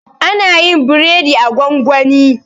ana yin biredi a gwangwani